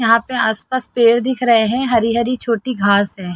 यहाँ पे आस- पास पेड़ दिख रहे है हरी -हरी छोटी घास है।